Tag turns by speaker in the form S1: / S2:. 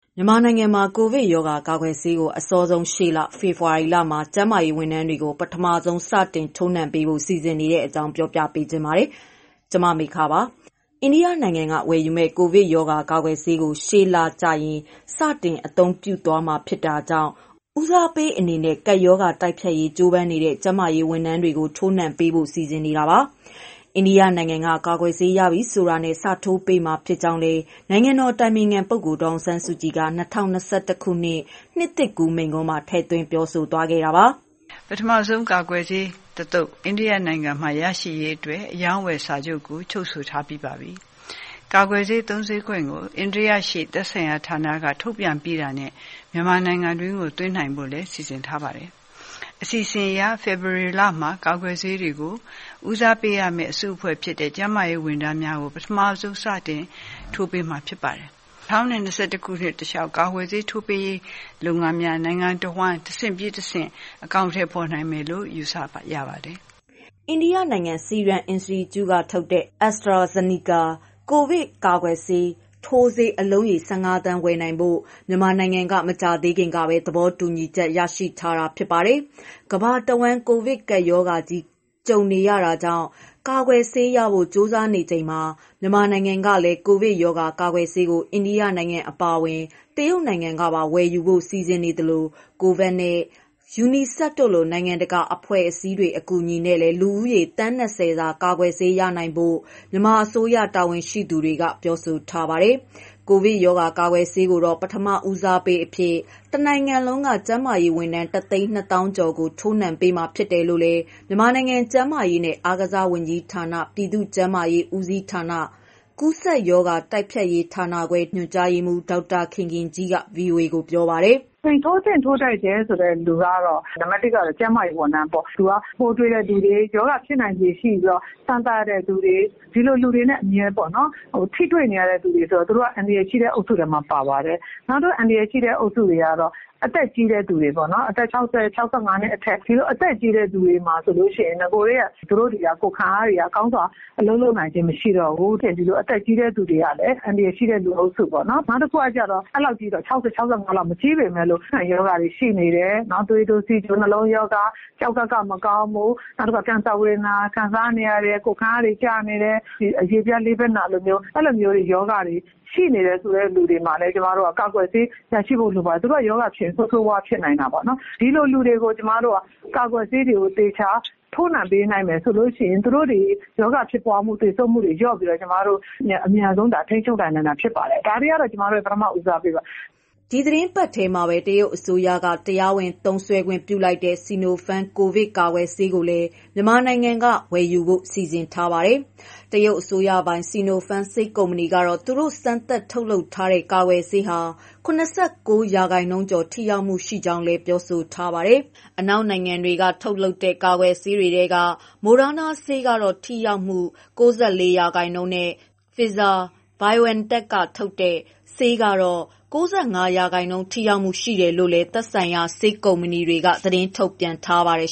S1: မြန်မာနိုင်ငံမှာ ကိုဗစ်ရောဂါ ကာကွယ်ဆေးကို အစောဆုံး ရှေ့လ၊ ဖေဖော်ဝါရီလမှာ ကျန်းမာရေးဝန်ထမ်းတွေကို ပထမဆုံး စတင်ထိုးနှံပေးဖို့ စီစဉ်နေတဲ့အကြောင်းကို ဗွီအိုအေမြန်မာပိုင်း သတင်းထောက် မမေခက ပြောပြပေးပါမယ်။ အိန္ဒိယနိုင်ငံက ဝယ်ယူမယ့် ကိုဗစ်ရောဂါ ကာကွယ်ဆေးကို ရှေ့လကျရင် စတင်အသုံးပြုနိုင်တော့မှာ ဖြစ်တာကြောင့် ဦးစားပေးအဖြစ် ကပ်ရောဂါ တိုက်ဖျက်ရေး ကြိုးပမ်းနေတဲ့ ကျန်းမာရေး ဝန်ထမ်းတွေကို ထိုးနှံပေးဖို့ စီစဉ်နေတာပါ။ အိန္ဒိယနိုင်ငံက ကာကွယ်ဆေး ရပြီဆိုတာနဲ့ စထိုးပေးမှာ ဖြစ်ကြောင်းလည်း နိုင်ငံတော်အတိုင်ပင်ခံ ပုဂ္ဂိုလ် ဒေါ်အောင်ဆန်းစုကြည်က ၂၀၂၁ ခုနှစ် နှစ်သစ်ကူး မိန့်ခွန်းမှာ ထည့်သွင်း ပြောဆိုသွားခဲ့တာပါ။ "ပ
S2: ထမဆုံး ကာကွယ်ဆေးတသုတ်ကို အိန္ဒိယနိုင်ငံမှရရှိရေး အတွက် အရောင်းအဝယ်စာချုပ်ကို ချုပ်ဆိုထားပြီးပါပြီ။ အိန္ဒိယရှိ သက်ဆိုင်ရာ ဌာနက ထုတ်ပြန်ပြီးတာနဲ့ မြန်မာနိူင်ငံတွင်းသွင်းနိုင်ဖို့ စီစဉ်ထားပါတယ်။ ဒီအစီအစဉ်အရ ဖေဖော်ဝါရီလမှာ ကာကွယ်ဆေးကို ဦးစားပေးရမယ့် အစုအဖွဲ့တွေဖြစ်တဲ့ ကျန်းမာရေးဝန်ထမ်းတွေကို ပထမဆုံး စတင်ထိုးပေးမှာဖြစ်ပါတယ်။ ၂၀၂၁ ခုနှစ်တလျှောက် ကာကွယ်ဆေးထိုးပေးရေး လုပ်ငန်းစဉ်တွေကို နိုင်ငံ တဝန်း၊ တဆင့်ပြီးတဆင့် အကောင်အထည်ဖော်နိုင
S1: ်မယ်လို့ ယူဆရပါတယ်။" အိန္ဒိယနိုင်ငံ Serum Institute က ထုတ်လုပ်တဲ့ AstraZeneca ကိုဗစ်ကာကွယ်ဆေး ထိုးဆေး အလုံးရေ ၁၅ သန်း ဝယ်နိုင်ဖို့ မြန်မာနိုင်ငံက မကြာသေးခင်ကပဲ သဘောတူညီချက်ရရှိထားတာဖြစ်ပါတယ်။ ကမ္ဘာတဝန်း ကိုဗစ်ကပ်ရောဂါကြုံနေရတာကြောင့် ကာကွယ် ဆေးရဖို့ ကြိုးစားနေကြချိန်မှာ မြန်မာနိုင်ငံကလည်း ကိုဗစ်ရောဂါ ကာကွယ်ဆေးကို အိန္ဒိယနိုင်ငံအပါအဝင် တရုတ်နိုင်ငံကပါ ဝယ်ယူဖို့ စီစဉ်နေသလို COVAX နဲ့ UNICEF တို့လို နိုင်ငံတကာ အဖွဲ့အစည်းတွေ အကူအညီနဲ့ လူဦးရေ သန်း ၂၀ စာ ကာကွယ်ဆေးဝယ်နိုင်ဖို့ မြန်မာအစိုးရ တာဝန်ရှိသူတွေက ပြောဆိုထားပါတယ်။ ကိုဗစ်ရောဂါ ကာကွယ်ဆေးကိုတော့ ပထမဦးစားပေးအဖြစ် မြန်မာတနိုင်လုံးက ကျန်းမာရေးဝန်ထမ်း ၁၂၀,၀၀၀ ကျော်ကို ထိုးနှံပေးမှာ ဖြစ်တယ်လို့လည်း မြန်မာနိုင်ငံ ကျန်းမာရေးနဲ့အားကစားဝန်ကြီးဌာန ပြည်သူ့ကျန်းမာရေး ဦးစီးဌာန၊ ကူးစက်ရောဂါ တိုက်ဖျက်ရေးဌာနခွဲ ဒုတိယညွှန်ကြားရေးမှူး ဒေါက်တာခင်ခင်ကြီးက ပြောပါတယ်။ "ထိုးသင့်ထိုးထိုက်တဲ့လူကတော့ ကျန်းမာရေး
S3: ဝန်ထမ်းတွေပေါ့။ သူတို့ကရောဂါရှိတဲ့သူတွေ ပိုးကူးစက်ခံရနိုင်တဲ့သူတွေကို အမြဲထိတွေ့ရတဲ့သူတွေမို့ သူတို့က အန္တရာယ်ရှိတဲ့သူတွေထဲပါတယ်။ နောက်တခုကတော့ အသက်ကြီးတဲ့သူတွေပေါ့နော်... အသက် ၆၀ နဲ့ ၆၅ နှင့်အထက်။ ဒီလို အသက်ကြီးတဲ့ သူတွေမှာဆိုလို့ရှိရင် နဂိုကတည်းက ကိုယ်ခံအားတွေက ကောင်းစွာအလုပ်လုပ်နိုင်ခြင်းမရှိတော့ဘူး။ ဒီလိူအသက်ကြီးတဲ့ သူတွေကလည်း အသက်ကြီးတဲ့လူအုပ်စုပေါ့နော်။ နောက်တခုကတော့ အသက် အဲဒီလောက်မရှိပေမဲ့လည်း ရောဂါအခံတွေရှိနေတယ်။ သွေးတိုး၊ နှလုံးရောဂါ၊ ကျောက်ကပ်မကောင်းတာ၊ ကင်ဆာသည်တွေ၊ ကိုယ်ခံအားတွေကျနေတဲ့သူတွေ၊ အဲဒီလိုမျိုးလူတွေမှာလည်း ကာကွယ်ဆေး ထိုးပေးနိုင်ဖို့ လိုပါတယ်။ သူတို့က ရောဂါဖြစ်ရင် ဆိုးဆိုးရွားရွားဖြစ်နိုင်တာပေါ့နော်။ ဒီလိုလူတွေကို ကာကွယ်ဆေးတွေကို သေချာ ထိုးနှံပေးနိုင်မယ်ဆိုလို့ရှိရင် သူတို့တွေ ရောဂါဖြစ်မှု၊ သေဆုံးမှုတွေ လ
S1: ျော့ပြီး ကျမတို့အမြန်ဆုံး ကာကွယ်ထိန်းချုပ်နိုင်ပါမယ်။ ဒီလူတွေကတော့ကျမတို့ ဦးစားပေးထိုးပေးမယ့်သူတွေပါ။" ဒီသီတင်းပတ်ထဲမှာပဲ တရုတ်အစိုးရက တရားဝင်သုံးစွဲခွင့်ပြုလိုက်တဲ့ Sinopharm ကိုဗစ်ကာကွယ်ဆေးကိုလည်း မြန်မာနိုင်ငံက ဝယ်ယူဖို့ စီစဉ်နေပါတယ်။ တရုတ်အစိုးရပိုင် Sinopharm ဆေးကုမ္ပဏီကတော့ သူတို့စမ်းသပ်ထုတ်လုပ်ထားတဲ့ ကာကွယ်ဆေးဟာ ၇၉ ရာခိုင်နှုန်းကျော် ထိရောက်မှုရှိကြောင်း ပြောဆိုထားပါတယ်။ အနောက်နိုင်ငံတွေက ထုတ်လုပ်တဲ့ ကာကွယ်ဆေးတွေထဲက Moderna ဆေးကတော့ ထိရောက်မှု ၉၄ ရာခိုင်နှုန်းနဲ့ Pfizer/BioNTech ကထုတ်လုပ်တဲ့ ဆေးက ၉၅ ရာခိုင်နှုန်း ထိရောက်မှု ရှိတယ်လို့လည်း သက်ဆိုင်ရာ ဆေးကုမ္ပဏီတွေက သတင်းထုတ်ပြန်ထားပါတယ်